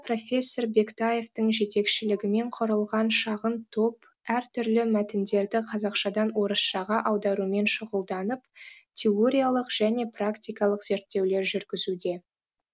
профессор бектаевтың жетекшілігімен кұрылған шағын топ әр түрлі мәтіндерді қазақшадан орысшаға аударумен шұғылданып теориялық және практикалық зерттеулер жүргізуде